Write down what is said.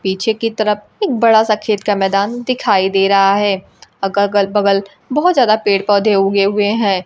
पीछे की तरफ एक बड़ा सा खेत का मैदान दिखाई दे रहा है और अगल बगल बहुत ज्यादा पेड़ पौधे उगे हुए हैं।